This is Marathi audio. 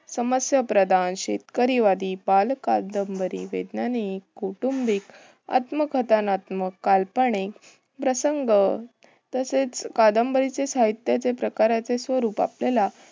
समस्या प्रधान, शेतकरीवादी, बालकादंबरी, वैज्ञानिक, कौटुंबिक, आत्मकथतामक, काल्पनिक, प्रसंग तसेच कादंबरीचे साहित्याचे प्रकारचे स्वरूप आपल्याला